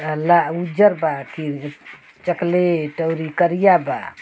ला उज्जर बा की चकलेट अउरी करिया बा |